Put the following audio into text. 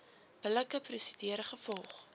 billike prosedure gevolg